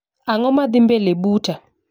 Ang'o madhii mbele buta